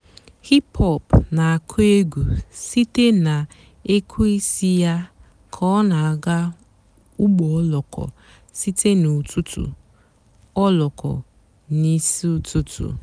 hìp-hòp nà- àkụ́ ègwú sìté nà èkwéísí yá kà ọ́ nà-àgá ụ́gbọ́ òlóko n'ìsí ụ́tụtụ́. òlóko n'ìsí ụ́tụtụ́.